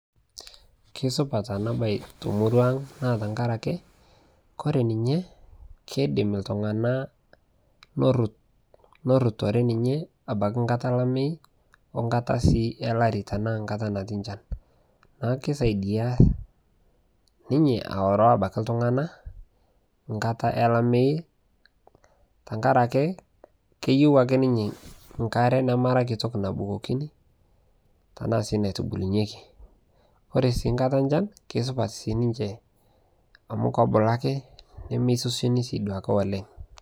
Keisupaat ena baye to murua ang naa tang'arake kore ninye keidiim ltung'ana looruut looruutore ninye abaki nkaata laimei o nkataa sii olaari tana nkaata natii lchaan naa keisaidia ninye aoroo abaki ltung'ana nkaata e laimei tang'araki keiyeu ake ninye nkaare namaara kitook nabukokini tana sii naitubulunyeki. Ore sii nkaata echaan kesupata sii ninchee amu kobuluu ake nemesoseni sii duake oleng.